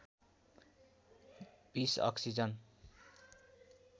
२० oxygen